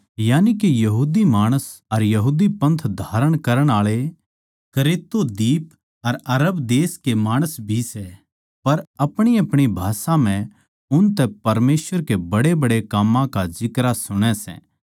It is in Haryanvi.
यानिके यहूदी माणस अर यहूदी पंथ धारण करण आळे क्रेतो दीप अर अरब देश के माणस भी सै पर अपणीअपणी भाषा म्ह उनतै परमेसवर के बड्डेबड्डे काम्मां का जिक्रा सुणै सै